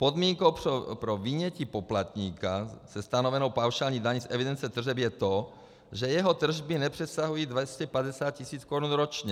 Podmínkou pro vynětí poplatníka se stanovenou paušální daní z evidence tržeb je to, že jeho tržby nepřesahují 250 tis. korun ročně.